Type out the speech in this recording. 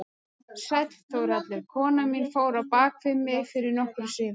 Sæll Þórhallur, konan mín fór á bak við mig fyrir nokkru síðan.